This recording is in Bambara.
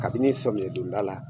Kabini samiyɛn donda la.